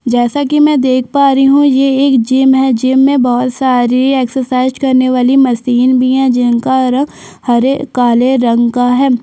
जैसा की मैं देख पा रही हु यह एक जिम है। जिम में बहुत सारी एक्सरसाइज करने बाली मशीन भी है। जिम का रंग हरे काले रंग का है।